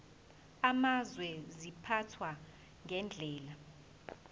amazwe ziphathwa ngendlela